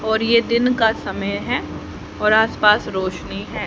और ये दिन का समय है और आसपास रोशनी है।